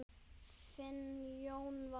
Þinn Jón Valur.